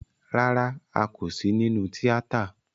Rárá, a kò sí nínú tíátà